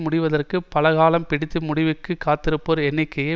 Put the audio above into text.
முடிவதற்குப் பல காலம் பிடித்து முடிவிற்கு காத்திருப்போர் எண்ணிக்கை